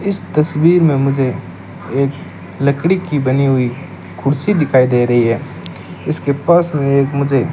इस तसवीर में मुझे एक लकड़ी की बनी हुई कुर्सी दिखाई दे रही है इसके पास में एक मुझे --